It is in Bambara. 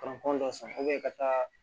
dɔ san ka taa